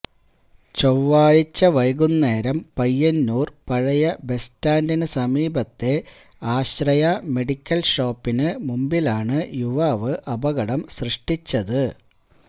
ചൊവ്വാഴ്ച വൈകുന്നേരം പയ്യന്നൂർ പഴയ ബസ് സ്റ്റാൻഡിന് സമീപത്തെ ആശ്രയ മെഡിക്കൽ ഷോപ്പിന് മുൻപിലാണ് യുവാവ് അപകടം സൃഷ്ടിച്ചത്